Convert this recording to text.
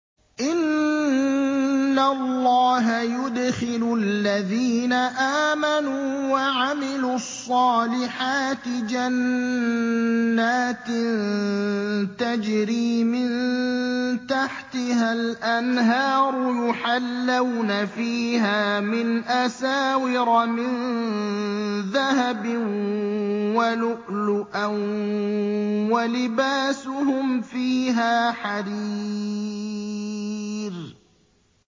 إِنَّ اللَّهَ يُدْخِلُ الَّذِينَ آمَنُوا وَعَمِلُوا الصَّالِحَاتِ جَنَّاتٍ تَجْرِي مِن تَحْتِهَا الْأَنْهَارُ يُحَلَّوْنَ فِيهَا مِنْ أَسَاوِرَ مِن ذَهَبٍ وَلُؤْلُؤًا ۖ وَلِبَاسُهُمْ فِيهَا حَرِيرٌ